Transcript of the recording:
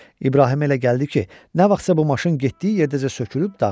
İbrahimə elə gəldi ki, nə vaxtsa bu maşın getdiyi yerdəcə sökülüb dağılacaq.